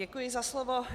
Děkuji za slovo.